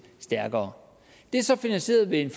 stærkere det er så er finansieret ved en